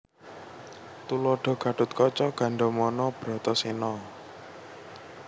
Tuladha Gatotkaca Gandamana Bratasena